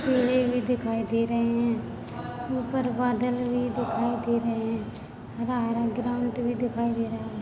सूर्य भी दिखाई दे रहे है ऊपर बदल भी दिखाई दे रहे है हरा हरा ग्राउंड भी दिखाई दे रहा है।